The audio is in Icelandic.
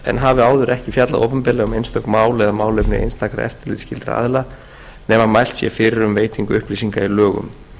en hafi áður ekki fjallað opinberlega um einstök mál eða málefni einstakra eftirlitsskyldra aðila nema mælt sé fyrir um veitingu upplýsinga í lögum